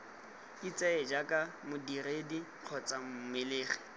itseye jaaka modiredi kgotsa mmelegi